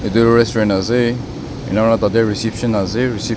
etu restaurant ase enika kurna tatey reception ase recep.